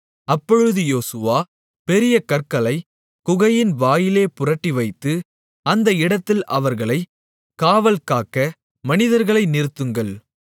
அப்பொழுது யோசுவா பெரிய கற்களைக் குகையின் வாயிலே புரட்டிவைத்து அந்த இடத்தில் அவர்களைக் காவல்காக்க மனிதர்களை நிறுத்துங்கள்